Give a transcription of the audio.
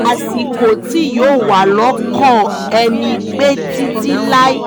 àsìkò tí yóò wà lọ́kàn ẹni pẹ́ títí láé